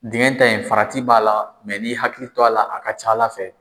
Dingɛ ta in farati b'a la ,mɛ n'i y'i hakili to a la, a ka ca ala fɛ.